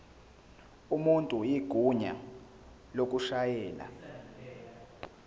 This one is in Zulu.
umuntu igunya lokushayela